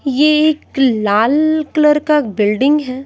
ये एक लाल कलर का बुलडिङ है।